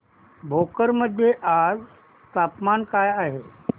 भोकर मध्ये आज तापमान काय आहे